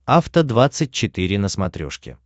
афта двадцать четыре на смотрешке